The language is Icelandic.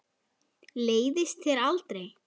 Leiðist þér aldrei?